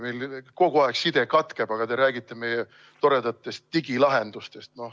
Meil kogu aeg side katkeb, aga te räägite meie toredatest digilahendustest.